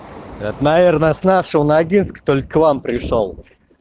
это наверное с нашего ногинска только к вам пришёл